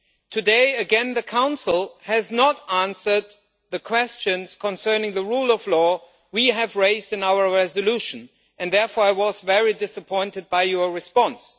Today again, the Council has not answered the questions concerning the rule of law we have raised in our resolution, and therefore I was very disappointed by your response.